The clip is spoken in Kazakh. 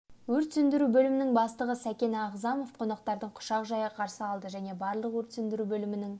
өрт сөндіру бөлімінің бастығы сәкен ағзамов қонақтарын құшақ жая қарсы алды және барлық өрт сөндіру бөлімінің